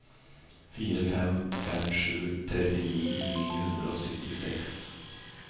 fem fire fem sju trettitre ni hundre og syttiseks